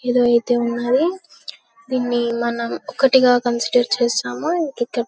యేదో అయితే ఉన్నది దిన్ని మనం ఒకటిగా కన్సిడర్ చేశాము. ఇక్క --